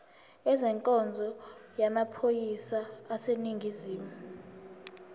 ezenkonzo yamaphoyisa aseningizimu